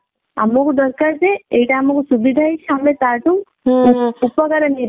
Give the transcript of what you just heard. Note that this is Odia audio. ଆମକୁ ଦରକାର ଯେ ଏଇଟା ଆମକୁ ସୁବିଧା ହେଇଛି ଆମେ ତା ଠୁ ଆମେ ତା ଠୁ ଉପକାର ନେଇ